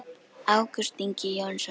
Ágúst Ingi Jónsson